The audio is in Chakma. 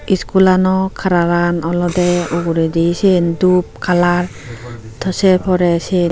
iskulano kalaran olodey uguredi siyen dup kalar tey sei porey sei.